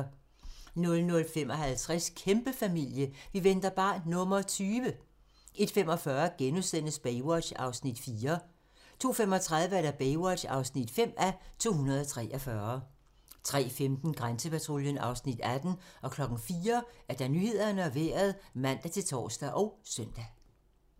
00:55: Kæmpefamilie - vi venter barn nr. 20! 01:45: Baywatch (4:243)* 02:35: Baywatch (5:243) 03:15: Grænsepatruljen (Afs. 18) 04:00: Nyhederne og Vejret (man-tor og søn)